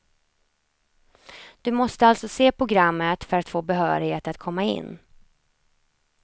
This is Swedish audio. Du måste alltså se programmet för att få behörighet att komma in.